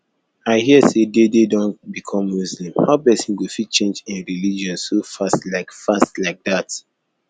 i hear say dede don become muslim how person go fit change im religion so fast like fast like that